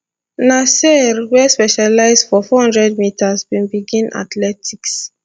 nasear wey specialise for 400 metres bin begin athletics